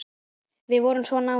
Við vorum svo náin.